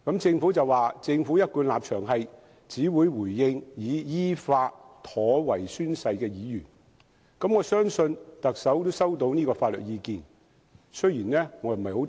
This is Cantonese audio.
政府表示，其一貫立場是只會回應已依法妥為宣誓的議員，我相信特首也收到這項法律意見。